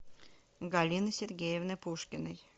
галины сергеевны пушкиной